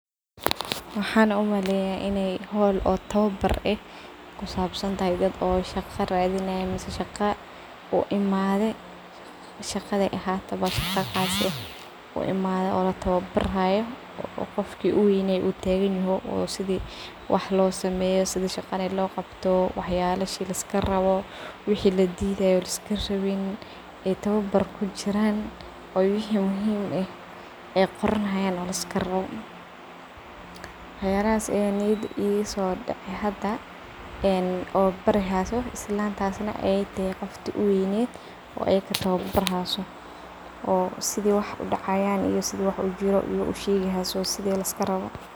Maxaan umaleyaah howl oo tababar eh kusabsantahaydad oo safar eh radinayan shaqada oo imadhe shaqadi ay ahatabo , shaqo qas ah uimanin oo latababaro qofka u weynay tababaro , waxi muhim ah dhan labarayo wax kasta wa labarayaawax losameyo sida shaqada loqabto , waxi ladidayo liskarawin iyo arimahas dan liskudidanyahay ayaa muhim ah in laga fejignadho oo liska ilaliyo mar walbo iyo meshi ad kusugantahay tas aa mhuhimad weyn led marka lisbabardigooo ay kutababarhayso oo sidi wax udacayan iyo sidi wax u jiro ushegihaysi iyi sidi liskarawo.